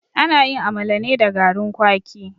Ana yin amala ne da garin kwaki.